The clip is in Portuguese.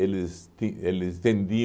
eles ti eles vendiam